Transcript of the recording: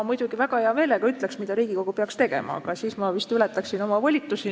Ma muidugi väga hea meelega ütleksin, mida Riigikogu peaks tegema, aga siis ma vist ületaksin oma volitusi.